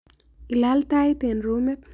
Ilal tait eng rumit.